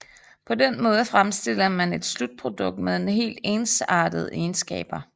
På den måde fremstiller man et slutprodukt med helt ensartede egenskaber